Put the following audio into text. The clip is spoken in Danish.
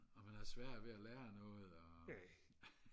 og man har sværere ved at lære noget og